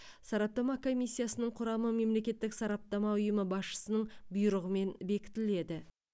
сараптама комиссиясының құрамы мемлекеттік сараптама ұйымы басшысының бұйрығымен бекітіледі